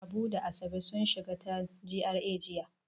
Habu da Asabe sun shiga ta GRA jiya.